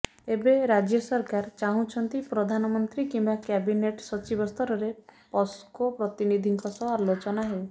ଏବେ ରାଜ୍ୟ ସରକାର ଚାହୁଁଛନ୍ତି ପ୍ରଧାନମନ୍ତ୍ରୀ କିମ୍ୱା କ୍ୟାବିନେଟ୍ ସଚିବ ସ୍ତରରେ ପସ୍କୋ ପ୍ରତିନିଧିଙ୍କ ସହ ଆଲୋଚନା ହେଉ